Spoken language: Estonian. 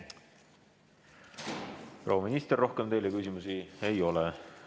Proua minister, rohkem teile küsimusi ei ole.